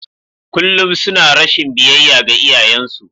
Kullum suna rashin biyayya ga iyayensu.